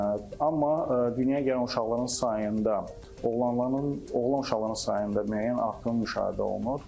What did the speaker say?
Amma dünyaya gələn uşaqların sayında oğlanların, oğlan uşaqlarının sayında müəyyən artım müşahidə olunur.